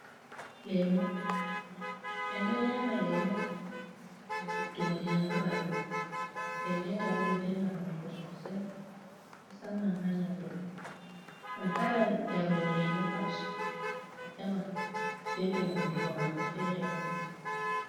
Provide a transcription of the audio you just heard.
Lemu: En ɗo nyama lemu ngam ɓeddbugo ndiyam ha ɓandu den nden ta bo ɗo velna hunduko sosai mosamman ha nyaudo. Ngam kala yarowo lemu pat a tawan beldum hunduko mako fere woni..